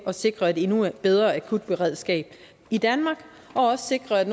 at sikre et endnu bedre akutberedskab i danmark og sikre at